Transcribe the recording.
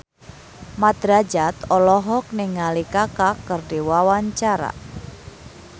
Mat Drajat olohok ningali Kaka keur diwawancara